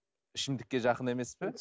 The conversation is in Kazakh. ішімдікке жақын емес пе